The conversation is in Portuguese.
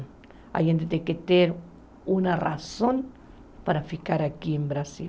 A gente tem que ter uma razão para ficar aqui no Brasil.